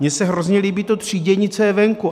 Mně se hrozně líbí to třídění, co je venku.